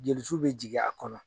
Joli su bɛ jigin a kɔnɔ.